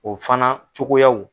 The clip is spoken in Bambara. O fana cogoyaw